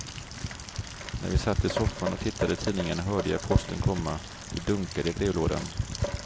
När vi satt i soffan och tittade i tidningen hörde jag posten komma, det dunkade i brevlådan.